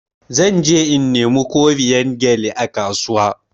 Zan je in nemi koriyan gyalle a kasuwa.